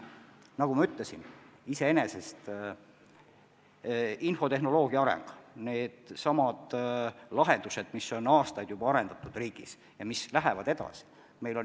Nagu ma ütlesin, infotehnoloogia areneb, paljusid lahendusi on juba aastaid riigis arendatud ja see töö läheb edasi.